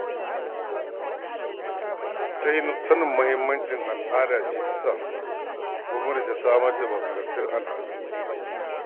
Sanin muhimmancin al'ada ce ya sa gwamnati ta samar da ma'aikatar al'adu.